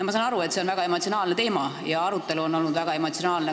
Ma saan aru, et see on väga emotsionaalne teema ja arutelu on olnud väga emotsionaalne.